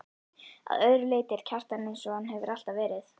Að öðru leyti er Kjartan einsog hann hefur alltaf verið.